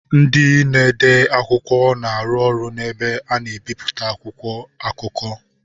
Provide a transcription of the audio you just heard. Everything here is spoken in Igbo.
Ndị na-ede akwụkwọ na-arụ ọrụ na ebe a na-ebipụta akwụkwọ akụkọ.